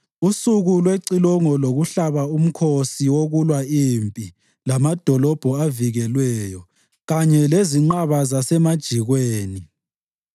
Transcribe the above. usuku lwecilongo lokuhlaba umkhosi wokulwa impi lamadolobho avikelweyo kanye lezinqaba zasemajikweni.